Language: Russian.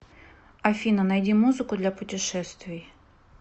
афина найди музыку для путешествий